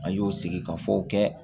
A y'o sigi ka fɔ kɛ